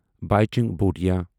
Bhaichung Bhutia